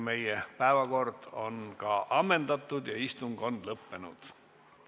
Meie päevakord on ammendatud ja istung on lõppenud.